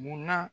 Munna